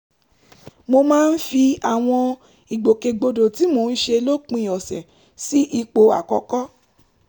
mo máa ń fi àwọn ìgbòkègbodò tí mò ń ṣe lópin ọ̀sẹ̀ sí ipò àkọ́kọ́